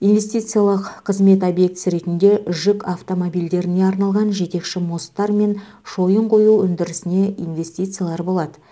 инвестициялық қызмет объектісі ретінде жүк автомобильдеріне арналған жетекші мосттар мен шойын құю өндірісіне инвестициялар болады